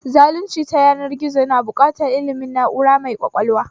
Zalunci ta yanar gizo na buƙatar ilmin na'ura mai ƙwaƙwalwa